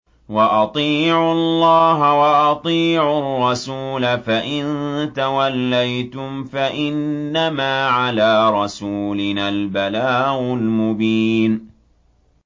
وَأَطِيعُوا اللَّهَ وَأَطِيعُوا الرَّسُولَ ۚ فَإِن تَوَلَّيْتُمْ فَإِنَّمَا عَلَىٰ رَسُولِنَا الْبَلَاغُ الْمُبِينُ